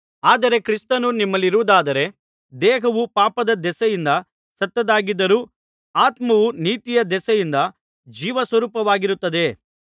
ಆದರೆ ಕ್ರಿಸ್ತನು ನಿಮ್ಮಲ್ಲಿರುವುದಾದರೆ ದೇಹವು ಪಾಪದ ದೆಸೆಯಿಂದ ಸತ್ತದ್ದಾಗಿದ್ದರೂ ಆತ್ಮವು ನೀತಿಯ ದೆಸೆಯಿಂದ ಜೀವಸ್ವರೂಪವಾಗಿರುತ್ತದೆ